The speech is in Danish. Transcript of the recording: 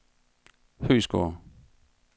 Høeghsgård